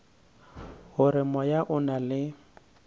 gore moya o na le